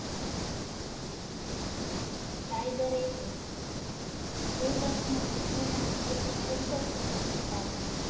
Cyber Attack બે વર્ષના પ્રચારના રૂપિયા પંદર સો કરોડ લુટાવ્યા.